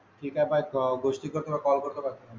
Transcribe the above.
शिकत आहे गोष्टी करणे फार अवघड असते मग